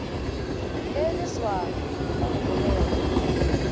le leswana la go bogega